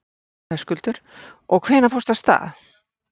Höskuldur: Og hvenær fórstu af stað?